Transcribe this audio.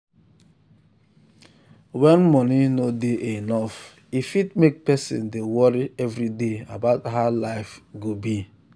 when money no dey enough e fit make person dey worry every day about how life go be.